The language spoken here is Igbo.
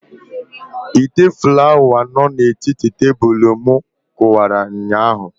Ite flawa tebụl no na etiti Palọ mụ kụwara ụnyaahụ